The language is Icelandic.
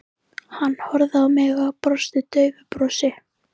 Hann horfði á mig og brosti daufu brosi.